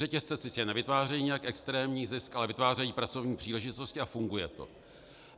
Řetězce sice nevytvářejí nijak extrémní zisk, ale vytvářejí pracovní příležitosti a funguje to.